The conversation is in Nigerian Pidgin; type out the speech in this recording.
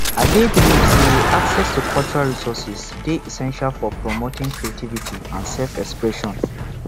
i dey believe say access to cultural resourses dey essential for promoting creativity and selfexpression